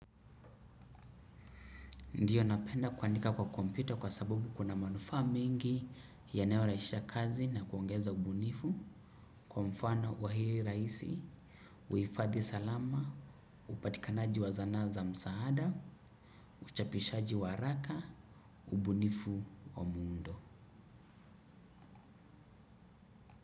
Ndio, napenda kwandika kwa kompyuta kwa sababu kuna manufaa mengi yanyorahisisha kazi na kuongeza ubunifu. Kwa mfano wa hili rahisi, huhifadhi salama, upatikanaji wa zana za msaada, uchapishaji wa haraka, ubunifu wa muundo.